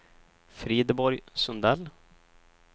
Frideborg Sundell